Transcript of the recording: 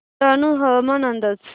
डहाणू हवामान अंदाज